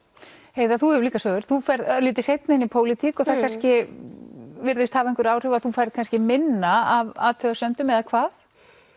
heiða þú hefur líka sögur þú ferð örlítið seinna inn í pólitík og það kannski virðist hafa einhver áhrif þú færð kannski minna af athugasemdum eða hvað